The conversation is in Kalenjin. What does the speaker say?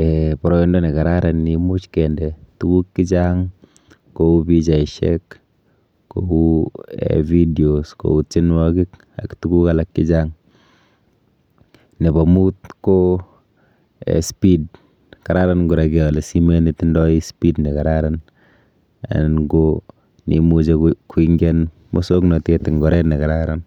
um boroindo nekararan neimuch kende tukuk chechang kou pichaishek, kou um videos , kou tienwokik ak tuguk alak chechang. Nepo mut ko um speed kararan kora keole simet netindoi speed nekararan anan ko neimuchi koingian musoknotet eng oret nekararan.